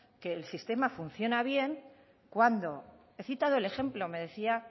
que el sistema funciona bien cuando he citado el ejemplo me decía